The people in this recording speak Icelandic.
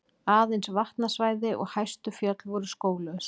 Aðeins vatnasvæði og hæstu fjöll voru skóglaus.